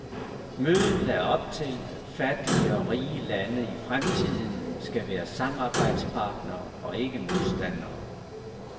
Mødet lagde op til, at fattige og rige lande i fremtiden skal være samarbejdspartnere og ikke modstandere.